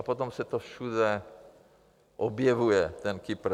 A potom se to všude objevuje, ten Kypr.